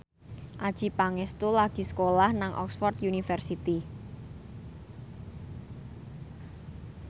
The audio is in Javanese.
Adjie Pangestu lagi sekolah nang Oxford university